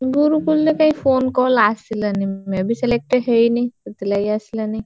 ଗୁରୁକୁଲ ରେ କାଇଁ phone call ଆସିଲାନି may be select ହେଇନି ସେଥିଲାଗି ଆସିଲାନି।